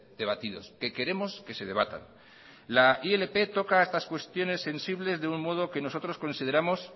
debatidos que queremos que se debatan la ilp toca estas cuestiones sensibles de un modo que nosotros consideramos